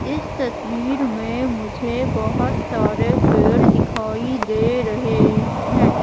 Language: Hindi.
इस तस्वीर में मुझे बहोत सारे पेड़ दिखाई दे रहे हैं।